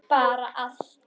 Bara allt.